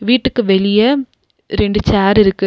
வீட்டுக்கு வெளிய ரெண்டு சேரிருக்கு .